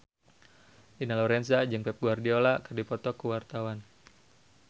Dina Lorenza jeung Pep Guardiola keur dipoto ku wartawan